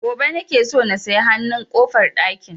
Gobe nake so na saya hanun ƙofar ɗakin